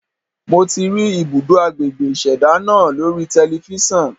Mo ti rí ibùdó agbègbè ìṣẹ̀dá náà lórí telifíṣàn.